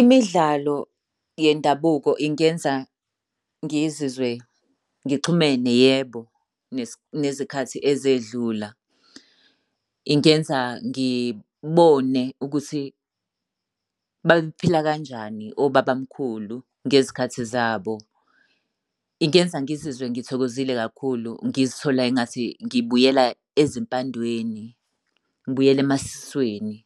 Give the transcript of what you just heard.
Imidlalo yendabuko ingenza ngizizwe ngixhumene, yebo, nezikhathi ezedlula. Ingenza ngibone ukuthi babephila kanjani obaba mkhulu ngezikhathi zabo. Ingenza ngizizwe ngithokozile kakhulu ngizithola engathi ngibuyela ezimpandweni, ngibuyela emasisweni.